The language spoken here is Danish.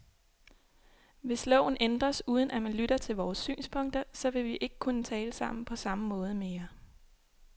Hvis loven ændres, uden at man lytter til vores synspunkter, så vil vi ikke kunne tale sammen på samme måde mere.